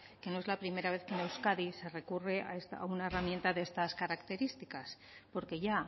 que no es la primera vez que en euskadi se recurre a una herramienta de estas características porque ya